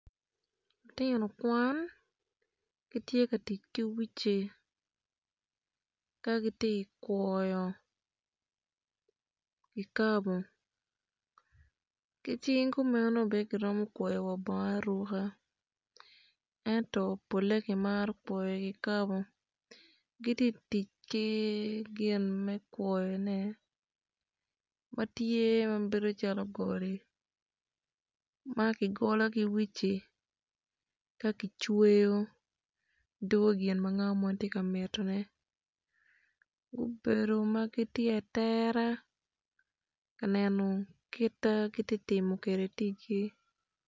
Lutino kwan gitye ka tic ki uci ka gitye kwoyo kikabo ki cing kumeno bene giromo kwoyo wa bongo aruka ento pole kimaro kwoyo kikapo gitye tic ki gin me kwoyo ne matye mabedo calo goli makigolo ki uci kakicweo dwogo gin ma ngat mo tye mito ne gubedo magitye atera kaneno kita gitye timo kede ticgi.